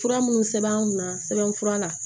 Fura minnu sɛbɛn an kunna sɛbɛn fura la